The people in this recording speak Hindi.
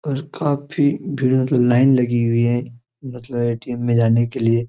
और काफी भीड़ मतलब लाइन लगी हुई है मतलब ए.टी.एम में जाने के लिए ।